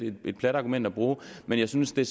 et lidt plat argument at bruge men jeg synes det